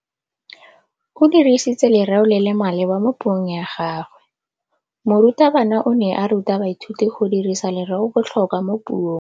O dirisitse lerêo le le maleba mo puông ya gagwe. Morutabana o ne a ruta baithuti go dirisa lêrêôbotlhôkwa mo puong.